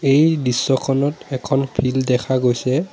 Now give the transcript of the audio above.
এই দৃশ্যখনত এখন ফিল্ড দেখা গৈছে।